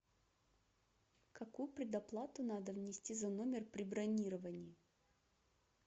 какую предоплату надо внести за номер при бронировании